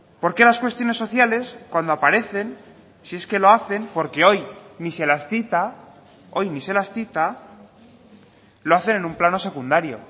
por qué las cuestiones sociales cuando aparecen si es que lo hacen porque hoy ni se las cita hoy ni se las cita lo hacen en un plano secundario